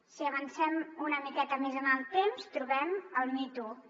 si avancem una miqueta més en el temps trobem el me too